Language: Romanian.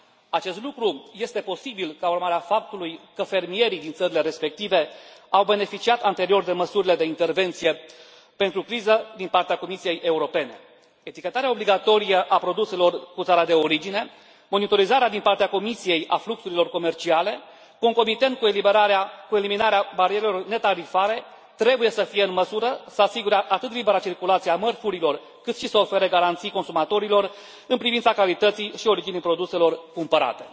Acest lucru este posibil ca urmare a faptului că fermierii din țările respective au beneficiat anterior de măsurile de intervenție pentru criză din partea Comisiei Europene. Etichetarea obligatorie a produselor cu țara de origine, monitorizarea din partea Comisiei a fluxurilor comerciale concomitent cu eliminarea barierelor netarifare trebuie să fie în măsură să asigure atât libera circulație a mărfurilor, cât și să ofere garanții consumatorilor în privința calității și originii produselor cumpărate.